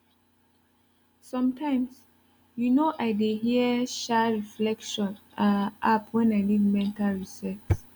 sometimes you know i dey hear um reflection um app when i need mental reset